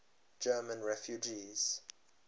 german refugees